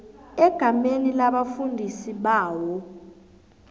egameni labafundi bawo